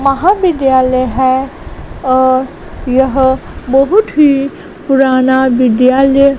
महाविद्यालय है और यह बहुत ही पुराना विद्यालय--